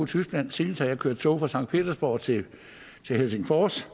tyskland senest har jeg kørt i tog fra sankt petersborg til helsingfors